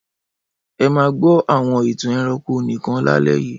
Ẹ máa gbọ́ àwọn ìtàn ẹranko nìkan lálẹ́ yìí!